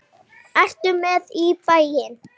Ertu með í bæinn?